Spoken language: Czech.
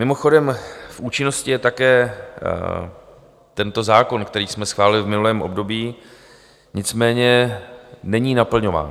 Mimochodem, v účinnosti je také tento zákon, který jsme schválili v minulém období, nicméně není naplňován.